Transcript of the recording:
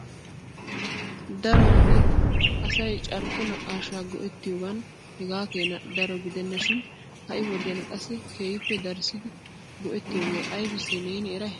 Dado wode asay carkko naqqaashsha go"ettiyoogan hega keena daro giddena shin ha'i wodiyan qassi keehippe darissidi go"ettitooge aybbisse neeni eray?